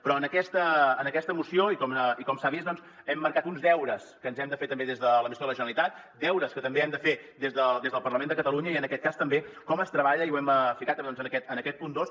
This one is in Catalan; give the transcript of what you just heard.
però en aquesta moció i com s’ha vist doncs hem marcat uns deures que ens hem de fer també des l’administració de la generalitat deures que també hem de fer des del parlament de catalunya i en aquest cas també com es treballa i ho hem ficat en aquest punt dos